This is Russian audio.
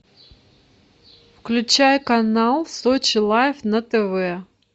включай канал сочи лайф на тв